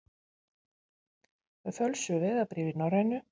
Með fölsuð vegabréf í Norrænu